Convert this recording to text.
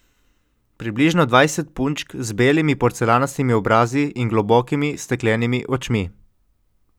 Približno dvajset punčk z belimi porcelanastimi obrazi in globokimi, steklenimi očmi.